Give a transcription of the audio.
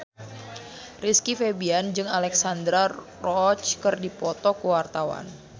Rizky Febian jeung Alexandra Roach keur dipoto ku wartawan